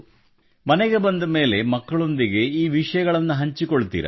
ಮನೆಗೆ ಬಂದ ಮೇಲೆ ಮಕ್ಕಳೊಂದಿಗೆ ಈ ವಿಷಯಗಳನ್ನು ಹಂಚಿಕೊಳ್ಳುತ್ತೀರಾ